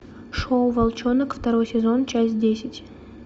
шоу волчонок второй сезон часть десять